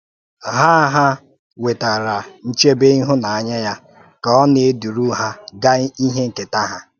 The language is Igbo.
Ha Ha nwetakwara nchebé ìhụ́nànyà ya ka ọ na-edúru ha gaa n’íhè nkétà ha.